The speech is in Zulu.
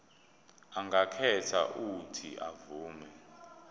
angakhetha uuthi avume